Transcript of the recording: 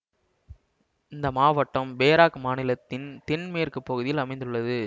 இந்த மாவட்டம் பேராக் மாநிலத்தின் தென் மேற்கு பகுதியில் அமைந்துள்ளது